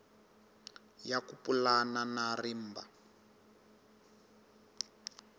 ya ku pulana na rimba